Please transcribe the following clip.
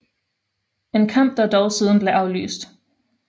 En kamp der dog siden blev aflyst